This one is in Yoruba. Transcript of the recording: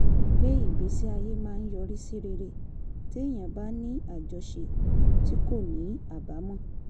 pé ìgbésí ayé máa ń yọrí sí rere téèyàn bá ń ní àjọṣe tí kò ní àbámọ̀